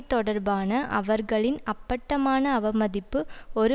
தொடர்பான அவர்களின் அப்பட்டமான அவமதிப்பு ஒரு